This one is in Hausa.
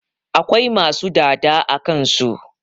Akwai masu dada a kansu